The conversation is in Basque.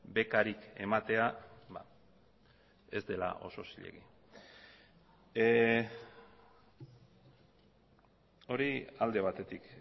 bekarik ematea ez dela oso zilegi hori alde batetik